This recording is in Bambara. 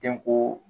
Denko